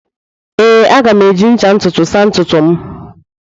Ee, a ga m eji ncha ntutu saa ntutu m.